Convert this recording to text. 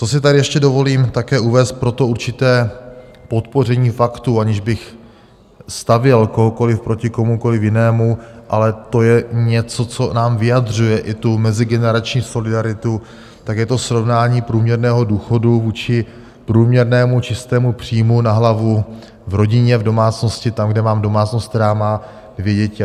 Co si tady ještě dovolím také uvést pro to určité podpoření faktů, aniž bych stavěl kohokoliv proti komukoliv jinému, ale to je něco, co nám vyjadřuje i tu mezigenerační solidaritu, tak je to srovnání průměrného důchodu vůči průměrnému čistému příjmu na hlavu v rodině, v domácnosti, tam, kde mám domácnost, která má dvě děti.